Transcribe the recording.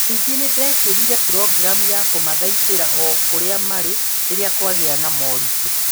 Ningĩ nĩ nĩndekĩrire programu ya kũmathaitira o kũrĩa marĩ rĩrĩa kwagĩa na moritũ